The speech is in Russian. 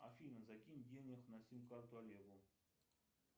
афина закинь денег на сим карту олегу